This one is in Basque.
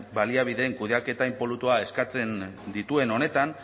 baliabideen kudeaketa inpolutoa eskatzen dituen honetan